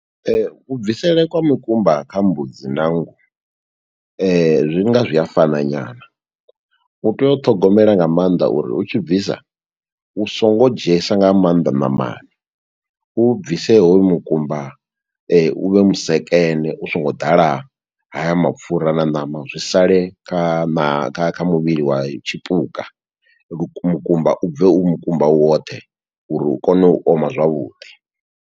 Ku bvisele kwa mukumba kha mbudzi na nngu, zwi nga zwi a fana nyana, u tea u ṱhogomela nga maanḓa uri u tshi bvisa, u songo dzhiesa nga maanḓa ṋamana. U u bvise hoyu mukumba, u vhe vhusekene u songo ḓala haya mapfura na ṋama. Zwi sale kha ṋa, kha kha muvhili wa tshipuka, luk mukumba u bve u mukumba woṱhe, uri u kone u oma zwavhuḓi.